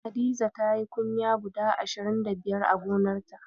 Hadiza tayi kunya guda ashirin da biyar a gonarta.